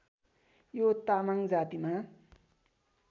यो तामाङ जातिमा